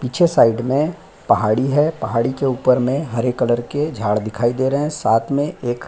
पीछे साइड मे पहाड़ी है पहाड़ी के ऊपर मे हरे कलर के झाड़ दिखाई दे रहे है साथ मे एक --